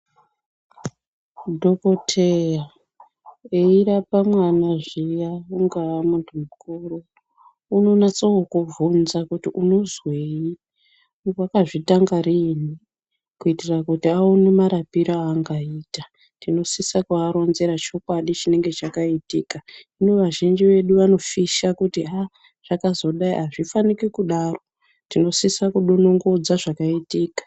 Dhokodheya eirapa mwana zviya ungaa muntu mukuru unonasa kukubvunza kuti unozweyi wakazvitanga riini kuitira kuti aone marapire aangaita tinosise kuaronzera chokwadi chinenge chakaitika hino vazhinji vedu vanofisha kuti ha zvakazodayi hazvifaniki kudaro tinosisa kudonongodza zvakaitika.